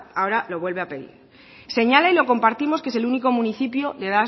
ahora lo vuelve a pedir señala y lo compartimos que es el único municipio de